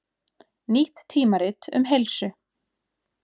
Nýtt tímarit um heilsu